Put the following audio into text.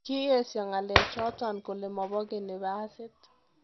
Kiyesio ngelechoton kole mopogeni basiit.